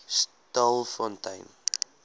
stilfontein